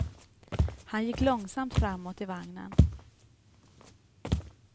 Han gick långsamt framåt i vagnen.